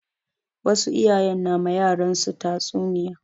Wasu iyayen na ma yaran su tatsu niya